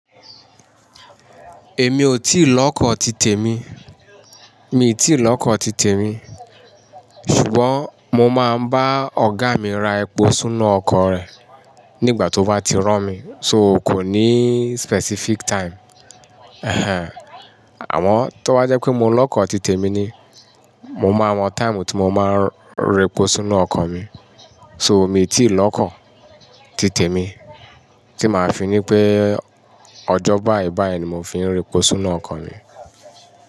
Èmi ò tíì lọ́kọ̀ titẹ̀ mi, mi ò tíì lọ́kọ̀ titẹ̀ mi. Ṣùgbọ́n mo máa ń bá ọ̀gá mi ra epo sinu ọkọ̀ rẹ̀ nígbà tó bá ti ràn mí. So kò ní specific time. Ehen. Àmọ́ tó bá jẹ́ pé mo lọ́kọ̀ titẹ̀ mi ni, mo máa mọ time tí mo máa ń ra epo sinu ọkọ̀ mi. So mi ò tíì lọ́kọ̀ titẹ̀ mi tí màá fi ní pé ọjọ́ báì báì ni mo fi ń ra epo sinu ọkọ̀ mi.